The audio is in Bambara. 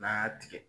N'an y'a tigɛ